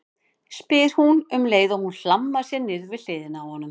spyr hún um leið og hún hlammar sér niður við hliðina á honum.